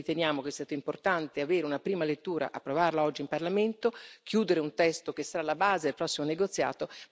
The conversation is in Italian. Per questo noi riteniamo che sia stato importante avere una prima lettura, approvarla oggi in Parlamento, chiudere un testo che sarà alla base del prossimo negoziato.